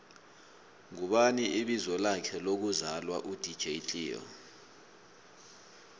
ngubani ibizo lakhe lokvzalwa u dj cleo